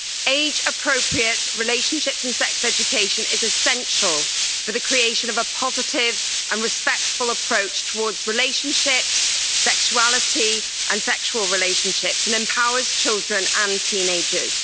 Age appropriate relationship and sex education is essential for the creation of a positive and respectful approach towards relationships, sexuality and sexual relationships, and empowers children and teenagers.